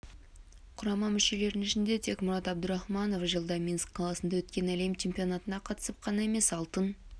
құрама мүшелерінің ішінде тек мурад абдурахманов жылда минск қаласында өткен әлем чемпионатына қатысып қана емес алтын